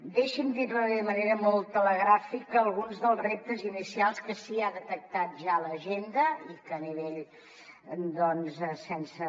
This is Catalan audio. deixi’m dir li de manera molt telegràfica alguns dels reptes inicials que sí que ha detectat ja l’agenda i que doncs sense